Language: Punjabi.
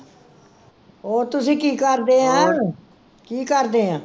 ਹੋਰ ਤੁਸੀਂ ਕੀ ਕਰਦੇ ਐ? ਕੀ ਕਰਦੇ ਐ?